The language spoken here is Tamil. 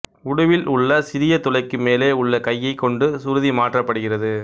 உடுவில் உள்ள சிறிய துளைக்கு மேலே உள்ள கையைக் கொண்டு சுருதி மாற்றப்படுகிறது